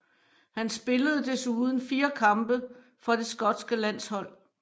Han spillede desuden fire kampe for det skotske landshold